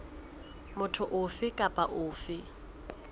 motho ofe kapa ofe eo